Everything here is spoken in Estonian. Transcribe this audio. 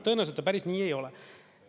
Tõenäoliselt päris nii ei ole.